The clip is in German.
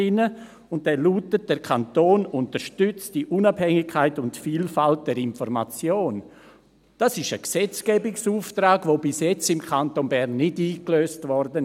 Dieser lautet: «Der Kanton unterstützt die Unabhängigkeit und Vielfalt der Informationen.» Das ist ein Gesetzgebungsauftrag, der im Kanton Bern bisher nicht eingelöst wurde.